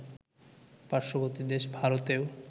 পার্শ্ববর্তী দেশ ভারতেও